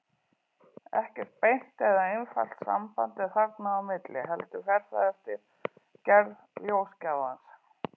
Ekkert beint eða einfalt samband er þarna á milli, heldur fer það eftir gerð ljósgjafans.